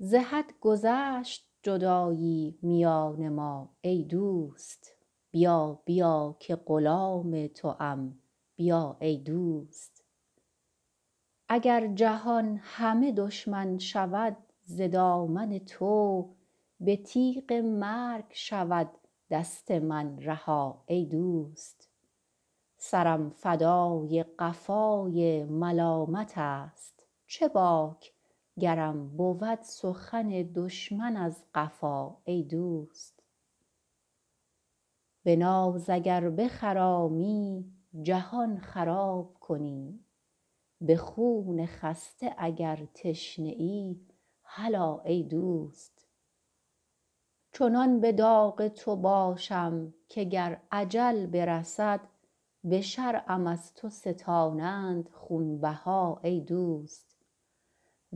ز حد گذشت جدایی میان ما ای دوست بیا بیا که غلام توام بیا ای دوست اگر جهان همه دشمن شود ز دامن تو به تیغ مرگ شود دست من رها ای دوست سرم فدای قفای ملامتست چه باک گرم بود سخن دشمن از قفا ای دوست به ناز اگر بخرامی جهان خراب کنی به خون خسته اگر تشنه ای هلا ای دوست چنان به داغ تو باشم که گر اجل برسد به شرعم از تو ستانند خونبها ای دوست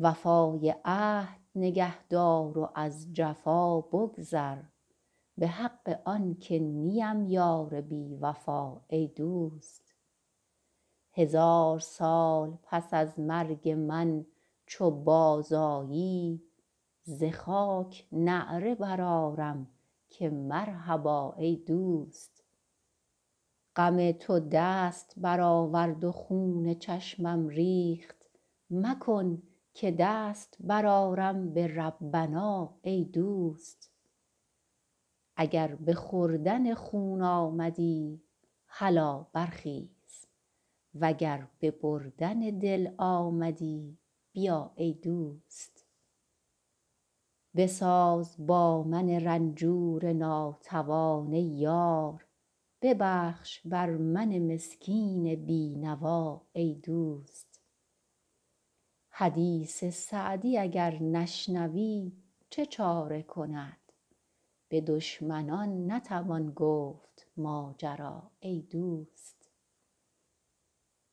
وفای عهد نگه دار و از جفا بگذر به حق آن که نیم یار بی وفا ای دوست هزار سال پس از مرگ من چو بازآیی ز خاک نعره برآرم که مرحبا ای دوست غم تو دست برآورد و خون چشمم ریخت مکن که دست برآرم به ربنا ای دوست اگر به خوردن خون آمدی هلا برخیز و گر به بردن دل آمدی بیا ای دوست بساز با من رنجور ناتوان ای یار ببخش بر من مسکین بی نوا ای دوست حدیث سعدی اگر نشنوی چه چاره کند به دشمنان نتوان گفت ماجرا ای دوست